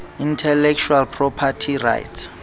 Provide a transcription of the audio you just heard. intellectual property rights